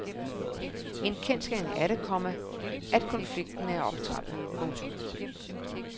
En kendsgerning er det, komma at konflikten er optrappet. punktum